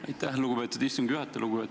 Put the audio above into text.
Aitäh, lugupeetud istungi juhataja!